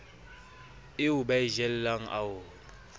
eo ba e jeleng ao